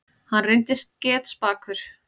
Hann reyndist getspakur.